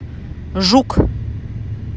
жук